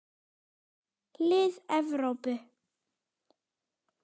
Lið Evrópu.